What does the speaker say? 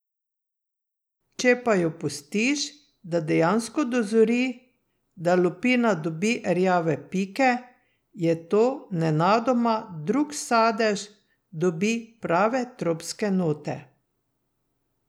Če pa jo pustiš, da dejansko dozori, da lupina dobi rjave pike, je to nenadoma drug sadež, dobi prave tropske note.